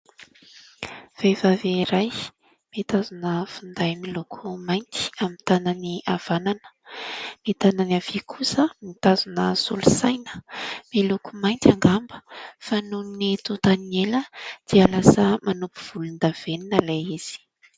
Vehivavy iray mitazona finday miloko mainty amin'ny tanany havanana, ny tanany havia kosa mitazona solosaina miloko mainty angamba, fa noho ny totan'ny ela dia lasa manopy volondavenona ilay izy.